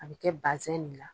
An bɛ kɛ basɛn de la.